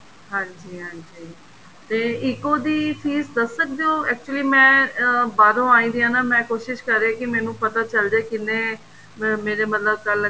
ਹਾਂਜੀ ਹਾਂਜੀ ਤੇ ECO ਦੀ fees ਦੱਸ ਸਕਦੇ ਓ actually ਮੈਂ ਅਹ ਬਾਹਰੋ ਆਈ ਵਈ ਆ ਮੈਂ ਕੋਸ਼ਿਸ ਕ਼ਰ ਰਹੀ ਆ ਕੀ ਮੈਨੂੰ ਪਤਾ ਚੱਲ ਜੇ ਕਿੰਨੇ mam ਮੇਰੇ ਮਤਲਬ ਕੱਲ